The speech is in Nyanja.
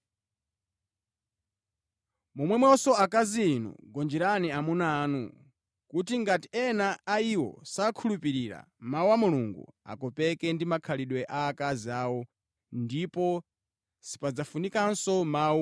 Momwemonso, akazi inu gonjerani amuna anu kuti ngati ena a iwo sakhulupirira Mawu a Mulungu, akopeke ndi makhalidwe a akazi awo ndipo sipadzafunikanso mawu